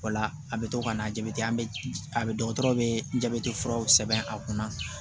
O la a bɛ to ka na jabɛti an bɛ a bɛ dɔgɔtɔrɔ be jabɛti furaw sɛbɛn a kunna